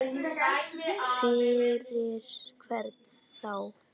Fyrir hvern þá?